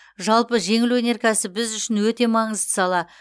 жалпы жеңіл өнеркәсіп біз үшін өте маңызды сала